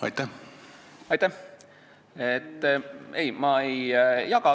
Aitäh!